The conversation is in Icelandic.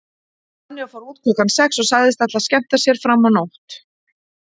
Sonja fór út klukkan sex og sagðist ætla að skemmta sér fram á nótt.